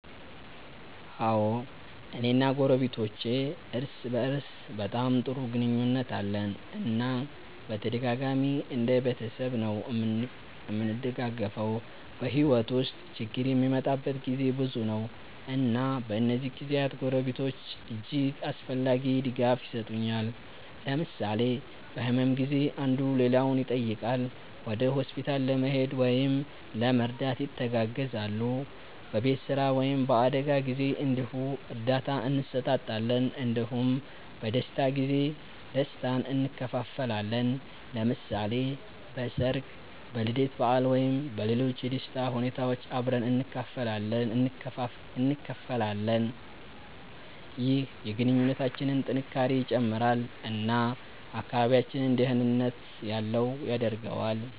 አዎ፣ እኔ እና ጎረቤቶቼ እርስ በእርስ በጣም ጥሩ ግንኙነት አለን እና በተደጋጋሚ እንደ ቤተሰብ ነዉ እምንደጋገፈዉ። በሕይወት ውስጥ ችግር የሚመጣበት ጊዜ ብዙ ነው፣ እና በእነዚህ ጊዜያት ጎረቤቶች እጅግ አስፈላጊ ድጋፍ የሰጡኛል። ለምሳሌ በህመም ጊዜ አንዱ ሌላውን ይጠይቃል፣ ወደ ሆስፒታል ለመሄድ ወይም ለመርዳት ይተጋገዛሉ። በቤት ስራ ወይም በአደጋ ጊዜ እንዲሁ እርዳታ እንሰጣጣለን እንዲሁም በደስታ ጊዜ ደስታን እንካፈላለን። ለምሳሌ በሠርግ፣ በልደት በዓል ወይም በሌሎች የደስታ ሁኔታዎች አብረን እንካፈላለን። ይህ የግንኙነታችንን ጥንካሬ ይጨምራል እና አካባቢያችንን ደህንነት ያለው ያደርገዋል።